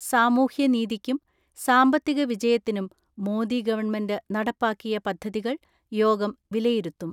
സാമൂഹ്യനീതിക്കും സാമ്പത്തിക വിജയത്തിനും മോദി ഗവൺമെന്റ് നടപ്പാക്കിയ പദ്ധതികൾ യോഗം വിലയിരുത്തും.